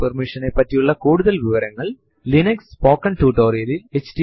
ഇപ്പോൾ എല്ലാ file കളും directory കളുടെ വിവരങ്ങളും ഫൈലിൻഫോ എന്ന് പേരുള്ള file ൽ രേഖപ്പെടുത്തും